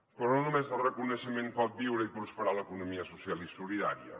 però no només de reconeixement pot viure i prosperar l’economia social i solidària